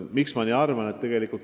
Miks ma nii arvan?